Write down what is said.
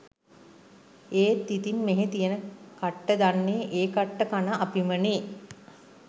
ඒත් ඉතින් මෙහෙ තියෙන කට්ට දන්නේ ඒ කට්ට කන අපිමනේ.